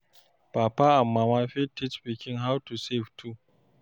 Papa and mama fit teach pikin how to save too